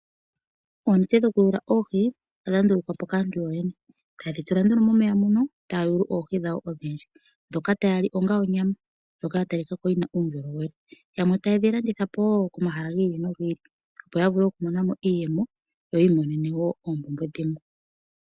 Oonete dhoku yula oohi odha ndulukwapo kaantu yoyene. Etayedhi tula nduno momeya mono etaya yulu oohi dhawo odhindji. Ndhoka taya li onga onyama ndjoka ya talikako yina uundjolowele. Yamwe tayedhi landithapo woo komahala gi ili no gi ili opo yavule oku imonena mo iiyemo. Yo yi imonena woo oompumbwe dhimwe.